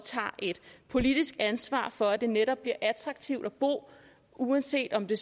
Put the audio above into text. tager et politisk ansvar for at det netop bliver attraktivt at bo uanset om det